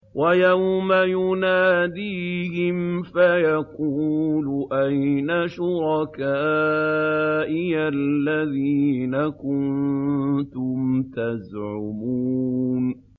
وَيَوْمَ يُنَادِيهِمْ فَيَقُولُ أَيْنَ شُرَكَائِيَ الَّذِينَ كُنتُمْ تَزْعُمُونَ